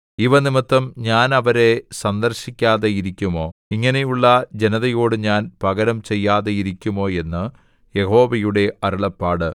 ഇവ നിമിത്തം ഞാൻ അവരെ സന്ദർശിക്കാതെ ഇരിക്കുമോ ഇങ്ങനെയുള്ള ജനതയോടു ഞാൻ പകരം ചെയ്യാതെ ഇരിക്കുമോ എന്ന് യഹോവയുടെ അരുളപ്പാട്